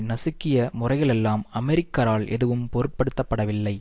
நசுக்கிய முறைகளெல்லாம் அமெரிக்கரால் எதுவும் பொருட்படுத்தப்படவில்லை